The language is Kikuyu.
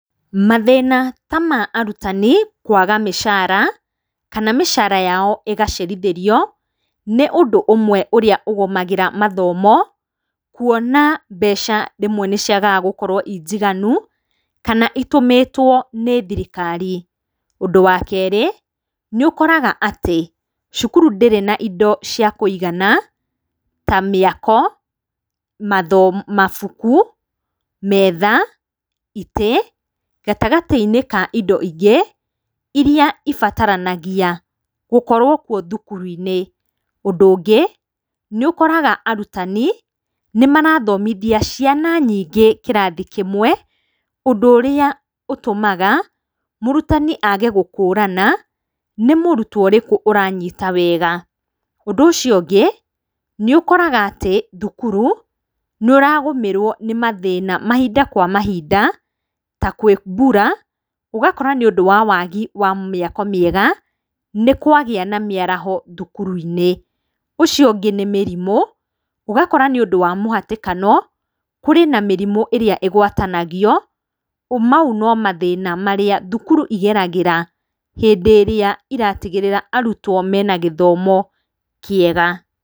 Mathĩna ta ma arutani kũaga mĩcara kana mĩcara yao ĩgacerithĩrio, nĩ ũndũ ũmwe ũrĩa ũgũmagĩra mathomo, kuona mbeca rĩmwe nĩ ciagaga gũkorwo i njiganu kana itũmetwo nĩ thirikari. Ũndũ wa kerĩ, nĩ ũkoraga atĩ cukuru ndĩrĩ na indo cia kũigana ta mĩako , mabuku, metha, itĩ, gatagatĩ-inĩ ka indo ingĩ iria ibataranagia gũkorwo thukuru-inĩ. Ũndũ ũngĩ nĩ ũkoraga arutani nĩ marathomithia ciana nyingĩ kĩrathi kĩmwe, ũndũ ũrĩa ũtũmaga mũrutani aage gũkũrana nĩ mũrutwo ũrĩkũ ũranyita wega. Ũndũ ũcio ũngĩ, nĩ ũkoraga atĩ thukuru, nũ ũragũmĩrwo nĩ mathĩna mahinda kwa mahinda, ta kwĩ mbura, ũgakora nĩ ũndũ wa waagi wa mĩako mĩega, nĩ kwagĩa na mĩaraho thukuru-inĩ. ũcio ũngĩ nĩ mĩrimũ, ũgakora nĩ ũndũ wa mĩhatĩkano, kũrĩ na mĩrimu ĩrĩa ĩgwatanagio, mau no mathĩna marĩa thukuru igeragĩra hĩndĩ ĩrĩa iratigĩrĩra arutwo me na gĩthomi kĩega.